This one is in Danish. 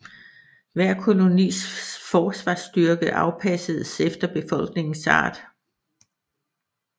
Hver kolonis forsvarsstyrke afpassedes efter befolkningens art